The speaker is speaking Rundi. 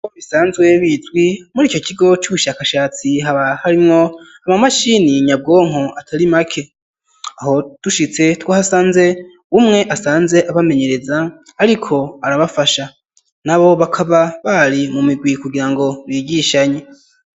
Bisanzwe bizwi, muri ico kigo, c'ubushakashatsi, haba harimwo, amamashini nyabwonko, atari make; aho dushitse, twahasanze umwe, asanzwe abamenyereza, ariko arabafasha, nabo bakaba, bari mu migwi, kugira ngo bigishanye.